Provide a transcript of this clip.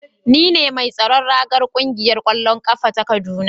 Ni ne mai tsaron ragar kungiyar kwallon kafa ta kaduna